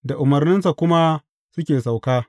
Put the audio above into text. Da umarninsa kuma suke sauka.